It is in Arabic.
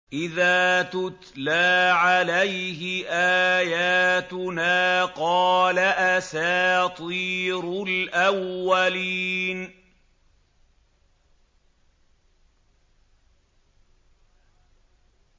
إِذَا تُتْلَىٰ عَلَيْهِ آيَاتُنَا قَالَ أَسَاطِيرُ الْأَوَّلِينَ